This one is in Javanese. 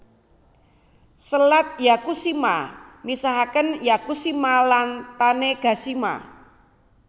Selat Yakushima misahaken Yakushima lan Tanegashima